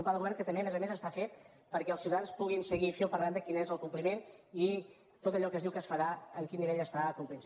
un pla de govern que també a més a més està fet perquè els ciutadans puguin seguir fil per randa quin és el compliment i tot allò que es diu que es farà en quin nivell està complint·se